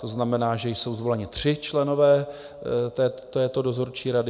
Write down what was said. To znamená, že jsou zvoleni tři členové této dozorčí rady.